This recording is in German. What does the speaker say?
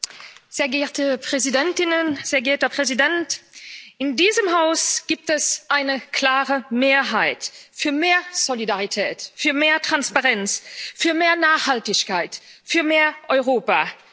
Frau Präsidentin, Frau Präsidentin der Kommission, Herr Präsident! In diesem Haus gibt es eine klare Mehrheit für mehr Solidarität, für mehr Transparenz, für mehr Nachhaltigkeit, für mehr Europa.